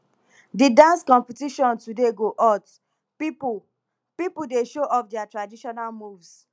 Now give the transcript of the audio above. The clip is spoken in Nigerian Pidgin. di dance competition today go hot pipo pipo dey show off their traditional moves